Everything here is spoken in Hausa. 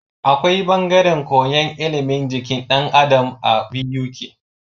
Akwai bangaren koyan ilimin jikin dan Adam a Buk